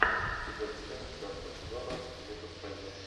четвертая часть пятнадцатого сезона метод фрейда